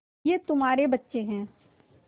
ये तुम्हारे बच्चे हैं